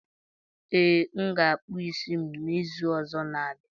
Ee, m ga akpa isi m n'izu ọzọ n'abia